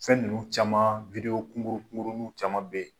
Fɛn ninnu caman kunguru kunguruniw caman bɛ ye.